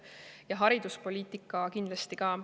Ja hariduspoliitika kindlasti ka.